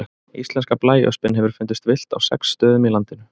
Íslenska blæöspin hefur fundist villt á sex stöðum á landinu.